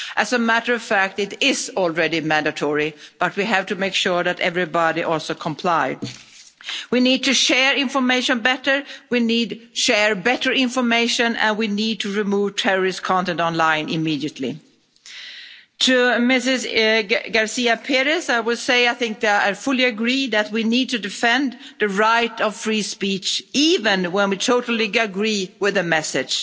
As a matter of fact, it is already mandatory, but we have to make sure that everybody also complies. We need to share information better, we need to share better information and we need to remove terrorist content online immediately. To Ms García Pérez, I would say I fully agree that we need to defend the right of free speech, even when we totally disagree with the message,